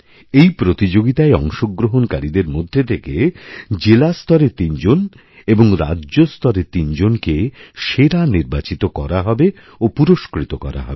এই প্রতিযোগিতায় অংশগ্রহণকারীদের মধ্যে থেকে জেলাস্তরে তিনজন এবং রাজ্যস্তরেতিনজনকে সেরা নির্বাচিত করা হবে ও পুরস্কৃত করা হবে